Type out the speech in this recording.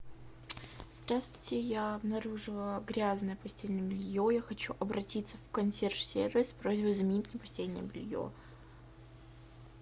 здравствуйте я обнаружила грязное постельное белье я хочу обратиться в консьерж сервис с просьбой заменить мне постельное белье